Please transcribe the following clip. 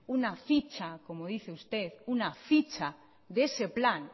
una ficha como dice usted una ficha de ese plan